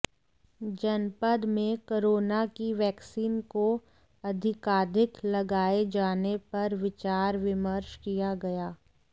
जनपद में कोरोना की वैक्सीन को अधिकाधिक लगाए जाने पर विचार विमर्श किया गया